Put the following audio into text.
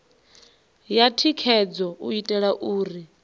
ya thikhedzo u itela uri